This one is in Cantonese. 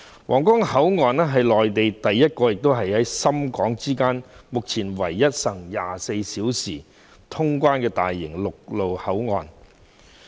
皇崗口岸是內地首個、亦是現時深港之間唯一實行24小時通關的大型陸路口岸。